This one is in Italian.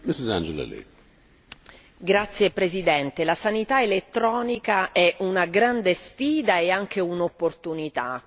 Signor Presidente, la sanità elettronica è una grande sfida e anche un'opportunità.